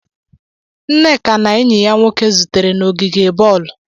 Nneka na enyi ya nwoke zutere n'ogige bọọlụ.